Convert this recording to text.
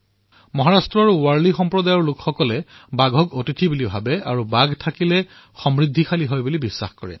মহাৰাষ্ট্ৰৰ বাৰ্লি সম্প্ৰদায়ৰ লোকে বাঘক অতিথি হিচাপে মানে আৰু তেওঁলোকৰ বাবে বাঘৰ উপস্থিতিয়ে সমৃদ্ধি আনে বুলি বিশ্বাস কৰে